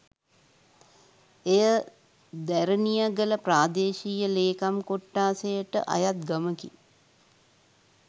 එය දැරණියගල ප්‍රාදේශීය ලේකම් කොට්ඨාසයට අයත් ගමකි